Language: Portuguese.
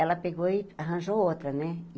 Ela pegou e arranjou outra, né?